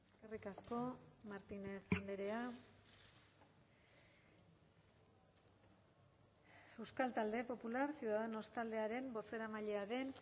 eskerrik asko martínez andrea euskal talde popular ciudadanos taldearen bozeramailea den